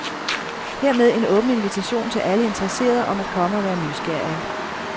Hermed en åben invitation til alle interesserede om at komme og være nysgerrige.